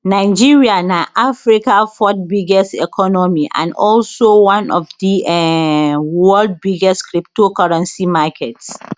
nigeria na africa fourth biggest economy and also one of di um world biggest cryptocurrency markets